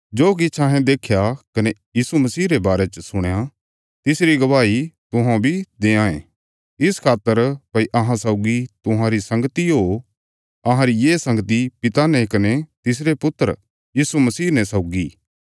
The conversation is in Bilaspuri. जो किछ अहें देख्या कने यीशु मसीह रे बारे च सुणया तिसरी गवाही तुहौं बी देआंये इस खातर भई अहां सौगी तुहांरी संगती ओ अहांरी ये संगती पिता ने कने तिसरे पुत्र यीशु मसीह ने सौगी